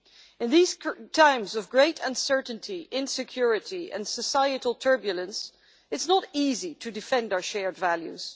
In these current times of great uncertainty, insecurity and societal turbulence, it is not easy to defend our shared values